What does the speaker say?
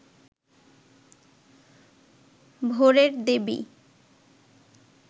ভোরের দেবী